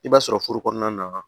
I b'a sɔrɔ furu kɔnɔna na